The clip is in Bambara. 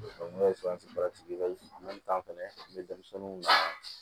ne ye fɛnɛ be denmisɛnninw la